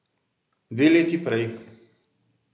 Dve leti prej.